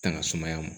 Tanga sumaya ma